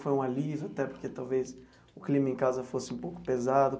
Foi um alívio, até porque talvez o clima em casa fosse um pouco pesado?